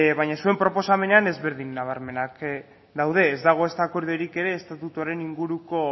baina zuen proposamenean ezberdin nabarmenak daude ez dago ezta akordiorik ere estatutuaren inguruko